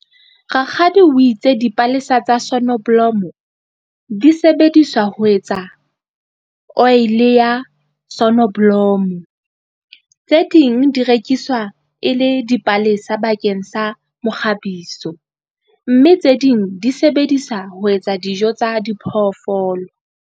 Rakgadi o itse dipalesa tsa sonnoblomo, di sebediswa ho etsa oele ya sonnoblomo. Tse ding di rekiswa e le dipalesa bakeng sa mokgabiso, mme tse ding di sebedisa ho etsa dijo tsa diphoofolo.